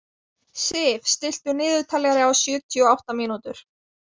Sif, stilltu niðurteljara á sjötíu og átta mínútur.